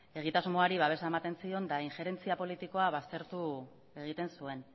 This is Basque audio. egitasmoari babesa ematen zion eta injerentzia politikoa baztertu egiten zuen